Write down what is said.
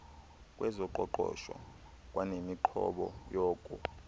kwezoqoqosho kwanemiqobo yoko